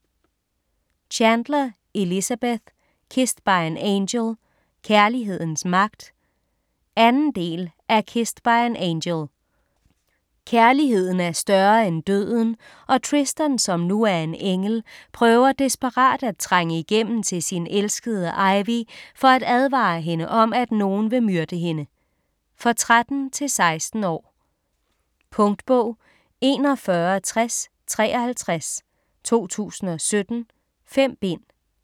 Chandler, Elizabeth: Kissed by an angel - kærlighedens magt 2. del af Kissed by an angel. Kærligheden er større end døden og Tristan, som nu er en engel, prøver desperat at trænge igennem til sin elskede Ivy for at advare hende om, at nogen vil myrde hende. For 13-16 år. Punktbog 416053 2017. 5 bind.